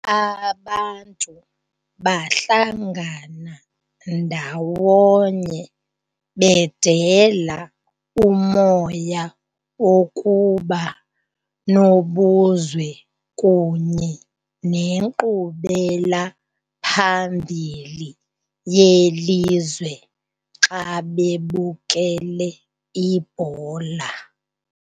Abantu bahlangana ndawonye bedela umoya wokuba nobuzwe kunye nenkqubelaphambili yelizwe xa bebukele ibhola.